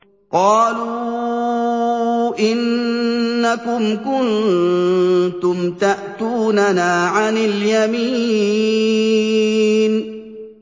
قَالُوا إِنَّكُمْ كُنتُمْ تَأْتُونَنَا عَنِ الْيَمِينِ